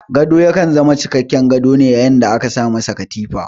Gado ya kan zama cikakken gado ne yayin da aka sa ma shi katifa.